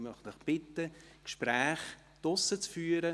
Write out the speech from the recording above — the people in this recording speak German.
Ich möchte Sie bitten, Gespräche draussen zu führen.